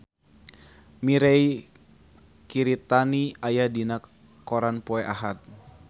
Mirei Kiritani aya dina koran poe Ahad